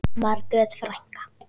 Margrét frænka.